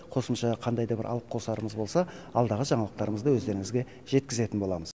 қосымша қандай да бір алып қосарымыз болса алдағы жаңалықтарда өздеріңізге жеткізетін боламыз